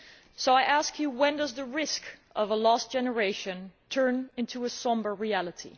So, I ask you, when does the risk of a lost generation turn into a sombre reality?